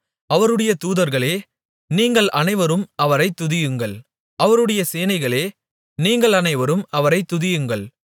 அவருடைய தூதர்களே நீங்கள் அனைவரும் அவரைத் துதியுங்கள் அவருடைய சேனைகளே நீங்கள் அனைவரும் அவரைத் துதியுங்கள்